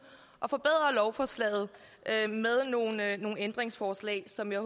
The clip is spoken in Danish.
at forbedre lovforslaget med nogle ændringsforslag som jeg